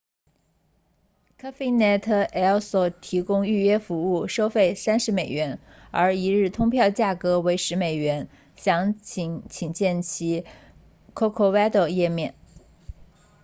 cafenet el sol 提供预约服务收费30美元而一日通票价格为10美元详情请见其 corcovado 页面